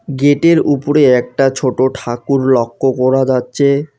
Gate -এর উপরে একটা ছোট ঠাকুর লক্য করা যাচচে।